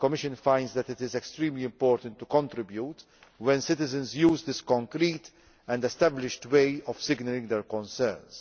It finds that it is extremely important to contribute when citizens use this concrete and established way of signalling their concerns.